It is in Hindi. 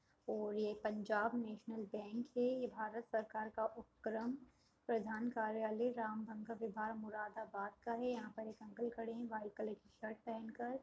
और ये पंजाब नेशनल बैंक है ये भारत सरकार का उपक्रम प्रधान कार्यलय राम्भंग का विभाग मुरादाबाद का है यहाँ पर एक अंकल खड़े है वाइट कलर की शर्ट पहेन कर --